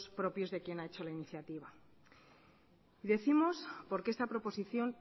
propios de quien ha hecho la iniciativa decimos porque esta proposición